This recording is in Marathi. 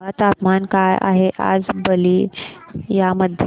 सांगा तापमान काय आहे आज बलिया मध्ये